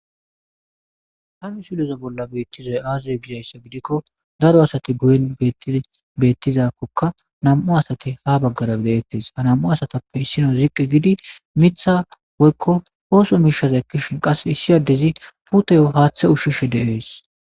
Ha misilezan beetizay aaze gizaysa gidiko daro asay guyen beetizakoka nam'u asati ha bagara be'etes ha nam'u asatupe issinoy ziqi gidi misha woyko ooso mishaza ekishin qaseka issi addezi puutiyo haathe ushishe de'es.